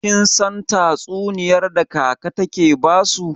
Kin san tatsuniyar da kaka take basu?